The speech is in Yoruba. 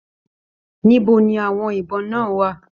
Níbo ní àwọn ibọn náà wà?